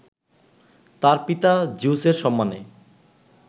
তার পিতা জিউসের সম্মানে